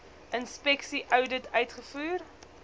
inspeksie oudit uitgevoer